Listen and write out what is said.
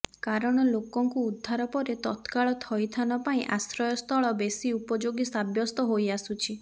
କାରଣ େଲାକଙ୍କୁ ଉଦ୍ଧାର ପରେ ତତ୍କାଳ ଥଇଥାନ ପାଇଁ ଆଶ୍ରୟସ୍ଥଳ େବଶି ଉପଯୋଗୀ ସାବ୍ୟସ୍ତ େହାଇଆସୁଛି